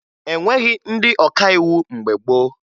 E nweghi ndị ọkàiwu mgbe gboo